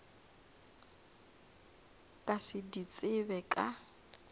ka se di tsebe ka